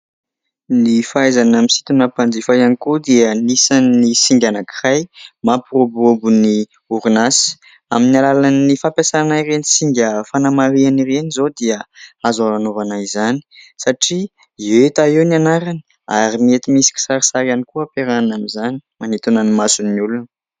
Ny fahaizana misintona mpanjifa ihany koa dia anisan'ny singa anankiray mampiroborobo ny orinasa amin'ny alalan'ny fampiasana ireny singa fanamarihana ireny izao dia azo anaovana izany satria hita eo ny anarany ary mety misy kisarisary ihany koa hamperahana amin'izany manintona ny mason'ny olona.